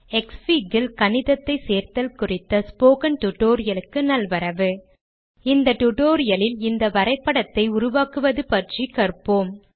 க்ஸ்ஃபிக் ல் கணிதத்தை சேர்த்தல் குறித்த ஸ்போக்கன் டியூட்டோரியல் க்குத் தங்களை வரவேற்கிறேன் இந்த டியூட்டோரியல் இல் இந்த வரைபடத்தை உருவாக்குவது பற்றி காண்போம்